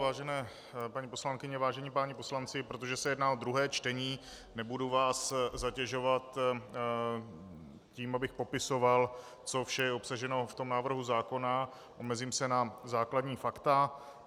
Vážené paní poslankyně, vážení páni poslanci, protože se jedná o druhé čtení, nebudu vás zatěžovat tím, abych popisoval, co vše je obsaženo v tom návrhu zákona, omezím se na základní fakta.